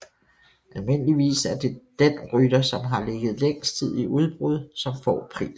Almindeligvis er det den rytter som har ligget længst tid i udbrud som får prisen